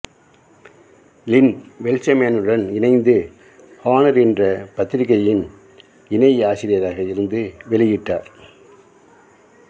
லின் வெல்ச்மேனுடன் இணைந்து ஹானர் என்ற பத்திரிக்கையின் இணை ஆசிரியராக இருந்து வெளியிட்டார்